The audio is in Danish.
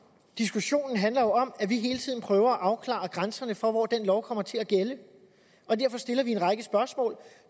diskussionen handler jo om at vi hele tiden prøver at afklare grænserne for hvor den lov kommer til at gælde derfor stiller vi en række spørgsmål